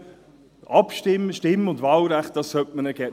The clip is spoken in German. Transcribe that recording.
– Hingegen sollte man ihnen das Stimm- und Wahlrecht geben.